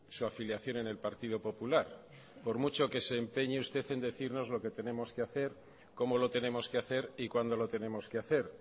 su afiliación en el partido popular por mucho que se empeñe usted en decirnos lo que tenemos que hacer cómo lo tenemos que hacer y cuándo lo tenemos que hacer